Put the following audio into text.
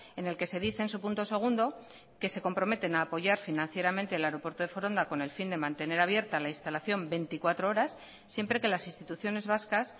en el que se dice en su punto segundo que se comprometen a apoyar financieramente el aeropuerto de foronda con el fin de mantener abierta la instalación veinticuatro horas siempre que las instituciones vascas